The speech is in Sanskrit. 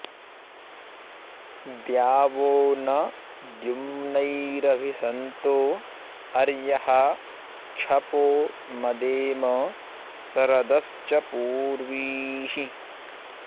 द्यावो॒ न द्यु॒म्नैर॒भि सन्तो॑ अ॒र्यः क्ष॒पो म॑देम श॒रद॑श्च पू॒र्वीः